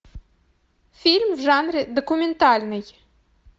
фильм в жанре документальный